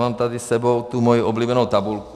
Mám tady s sebou moji oblíbenou tabulku.